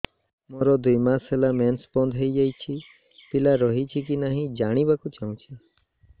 ମୋର ଦୁଇ ମାସ ହେଲା ମେନ୍ସ ବନ୍ଦ ହେଇ ଯାଇଛି ପିଲା ରହିଛି କି ନାହିଁ ଜାଣିବା କୁ ଚାହୁଁଛି